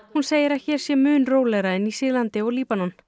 hún segir að hér sé mun rólegra en í Sýrlandi og Líbanon